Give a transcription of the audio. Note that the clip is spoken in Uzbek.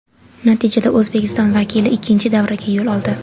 Natijada O‘zbekiston vakili ikkinchi davraga yo‘l oldi.